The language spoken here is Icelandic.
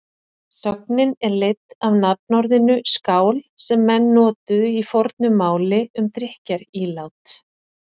Sögnin er leidd af nafnorðinu skál sem menn notuðu í fornu máli um drykkjarílát.